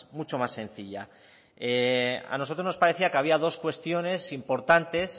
mucho más sencilla a nosotros nos parecía que había dos cuestiones importantes